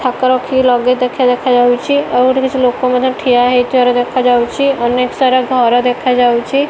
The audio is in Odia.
ଥାକ ରଖି ଲଗେଜ୍ ଦେଖିଆ ଦେଖାଯାଉଚି ଆଉ ଏଠି କିଛି ଲୋକ ମଧ୍ୟ ଠିଆ ହେଇଥିବାର ଦେଖାଯାଉଚି ଅନେକ ସାରା ଘର ଦେଖାଯାଉଚି ।